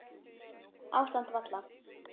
Ástand valla